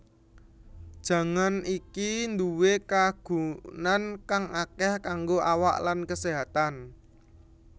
Jangan iki duwé kagunan kang akeh kanggo awak lan keséhatan